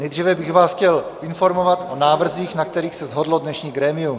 Nejdříve bych vás chtěl informovat o návrzích, na kterých se shodlo dnešní grémium.